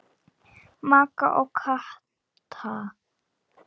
Magga og Kata.